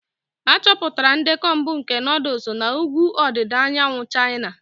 Achọpụtara ndekọ mbụ nke nuduls na ugwu ọdịda anyanwụ China.